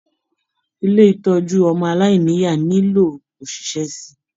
Ilé ìtọjú ọmọ aláìníya nilo oṣiṣẹ síi.